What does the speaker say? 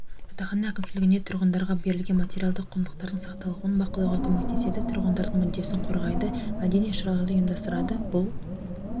жатақхана әкімшілігіне тұрғындарға берілген материалдық құндылықтардың сақталуын бақылауға көмектеседі тұрғындардың мүддесін қорғайды мәдени іс-шараларды ұйымдастырады бұл